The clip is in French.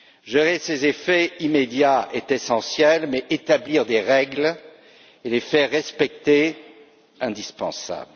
Gérer ses effets immédiats est essentiel, mais établir des règles et les faire respecter est tout aussi indispensable.